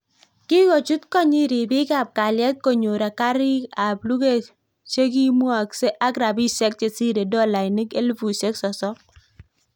Kingochuut koot nyiin ripiik ap kalyet konyor karik ap luget chekimwokse ak rapisiek chesiree dolainik elefusiek sosoom